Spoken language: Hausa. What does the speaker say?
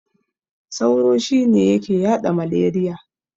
Sauro shine yake yaɗa maleriya.